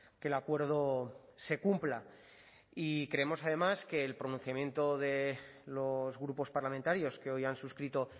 que el acuerdo se cumpla y creemos además que el pronunciamiento de los grupos parlamentarios que hoy han suscrito